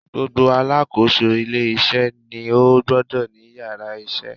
Gbogbo Alákóso ilé isé ni ó gbodò ní yàrá isé